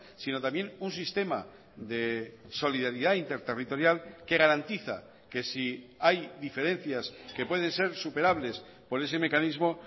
sino también un sistema de solidaridad interterritorial que garantiza que si hay diferencias que pueden ser superables por ese mecanismo